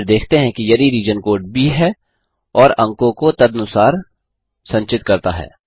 हम फिर देखते हैं कि यदि रीजन कोड ब है और अंकों को तदनुसार संचित करता है